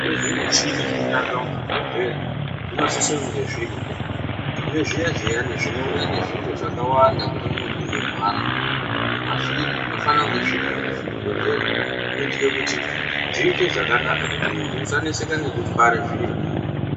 Kune zvimichini zvinoshandiswa muzvibhedhlera zvinosise kunge zviriko nezviya zviya zvinouya nezviro zvakawanda kune munhu unorwara zvine mavhiri zvinofanire kunge zvirimwo muzvibhedhlera kuitire kuti zviite zvakanaka kuti munhu usaneseka ngekutware zviro.